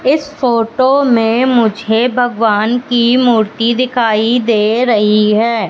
इस फोटो में मुझे भगवान की मूर्ति दिखाई दे रही है।